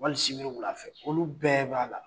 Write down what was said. Wali sibiri wula fɛ olu bɛɛ b'a la